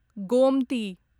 Gomti